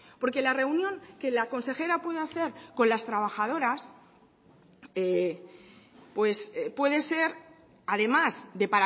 porque la reunión que la consejera puede hacer con las trabajadoras pues puede ser además de